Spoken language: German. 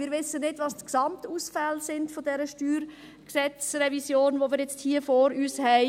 Wir wissen nicht, was die Gesamtausfälle dieser StG-Revision sind, die wir nun hier vor uns haben.